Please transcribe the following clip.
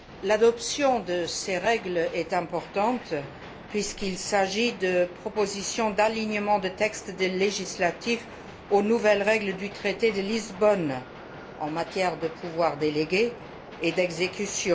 L'adoption de ces règles est importante, puisqu'il s'agit de propositions d'alignement de textes législatifs sur les nouvelles règles du traité de Lisbonne en matière de pouvoirs délégués et d'exécution.